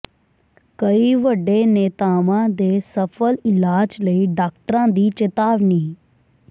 ਕਈ ਵੱਡੇ ਨੇਤਾਵਾਂ ਦੇ ਸਫਲ ਇਲਾਜ ਲਈ ਡਾਕਟਰ ਦੀ ਚੇਤਾਵਨੀ